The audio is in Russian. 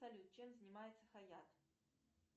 салют чем занимается хаят